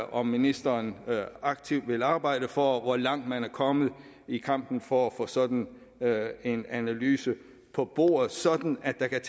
om ministeren aktivt vil arbejde for og hvor langt man er kommet i kampen for at få sådan en analyse på bordet sådan at der kan